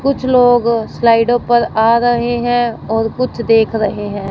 कुछ लोग स्लाइडों पर आ रहे हैं और कुछ देख रहे हैं।